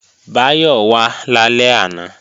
Báyọ̀ wà lálẹ́ àná